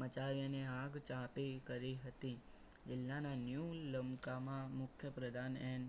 મચાવીને આગ ચાપી કરી હતી જિલ્લામાં ન્યુ લંકામાં મુખ્યપ્રધાન એન